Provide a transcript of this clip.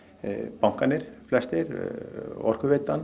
bankarnir flestir Orkuveitan